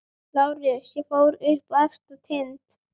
LÁRUS: Ég fór upp á efsta tind.